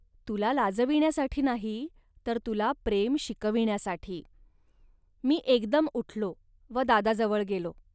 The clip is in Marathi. तुला लाजविण्यासाठी नाही, तर तुला प्रेम शिकविण्यासाठी. .मी एकदम उठलो व दादाजवळ गेलो